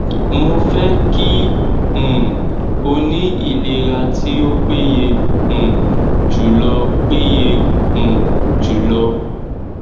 mo fẹ kí um o ní ìlera tí ó péye um jùlọ péye um jùlọ